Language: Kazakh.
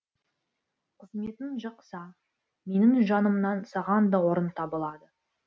қызметің жақса менің жанымнан саған да орын табылады